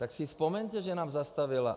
Tak si vzpomeňte, že nám zastavila.